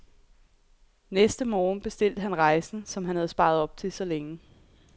Næste morgen bestilte han rejsen, som han havde sparet op til så længe.